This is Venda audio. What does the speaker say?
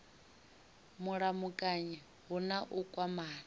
mulamukanyi hu na u kwamana